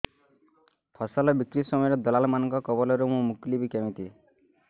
ଫସଲ ବିକ୍ରୀ ସମୟରେ ଦଲାଲ୍ ମାନଙ୍କ କବଳରୁ ମୁଁ ମୁକୁଳିଵି କେମିତି